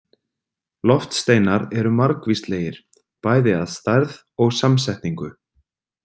Loftsteinar eru margvíslegir, bæði að stærð og samsetningu.